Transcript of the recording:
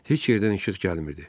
Heç yerdən işıq gəlmirdi.